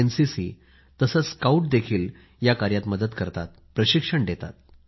NCC आणि स्काउटही या कार्यात मदत करतात प्रशिक्षण ही देतात